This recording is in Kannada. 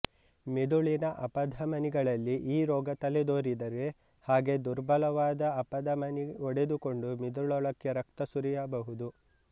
ಮಿದುಳಿನ ಅಪಧಮನಿಗಳಲ್ಲಿ ಈ ರೋಗ ತಲೆ ದೋರಿದರೆ ಹಾಗೆ ದುರ್ಬಲವಾದ ಅಪಧಮನಿ ಒಡೆದುಕೊಂಡು ಮಿದುಳೊಳಕ್ಕೆ ರಕ್ತ ಸುರಿಯಬಹುದು